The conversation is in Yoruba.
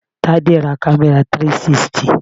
Tade ra camera 360.